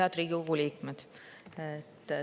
Head Riigikogu liikmed!